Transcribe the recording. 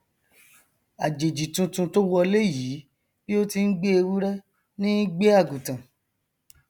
àjèjì tuntun tó wọlé yìí bí ó ti ngbé ewúrẹ ní í gbé àgùntàn